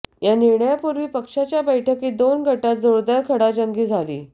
या निर्णयापूर्वी पक्षाच्या बैठकीत दोन गटांत जोरदार खंडाजंगी झाली